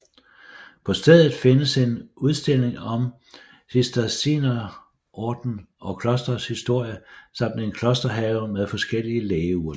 På stedet findes en udstilling om Cistercienserordenen og klostrets historie samt en klosterhave med forskellige lægeurter